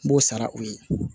N b'o sara o ye